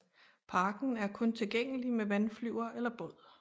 Parken er kun tilgængelig med vandflyver eller båd